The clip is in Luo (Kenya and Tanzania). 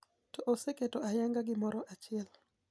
To oseketo ayanga gimoro achiel.